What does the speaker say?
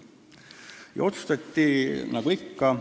Kokku võttes otsustati konsensusega teha